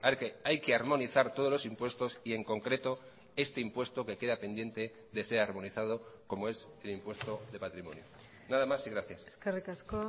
que hay que armonizar todos los impuestos y en concreto este impuesto que queda pendiente de ser armonizado como es el impuesto de patrimonio nada más y gracias eskerrik asko